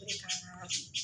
O de kan gaa